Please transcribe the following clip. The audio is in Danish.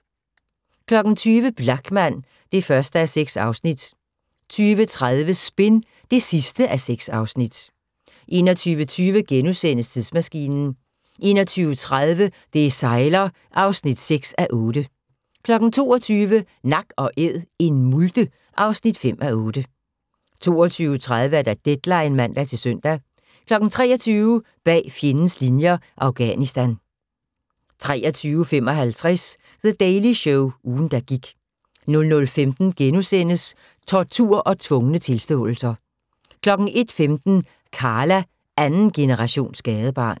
20:00: Blachman (1:6) 20:30: Spin (6:6) 21:20: Tidsmaskinen * 21:30: Det sejler (6:8) 22:00: Nak & Æd – en multe (5:8) 22:30: Deadline (man-søn) 23:00: Bag fjendens linjer – Afghanistan 23:55: The Daily Show - ugen, der gik 00:15: Tortur og tvungne tilståelser * 01:15: Karla – andengenerations gadebarn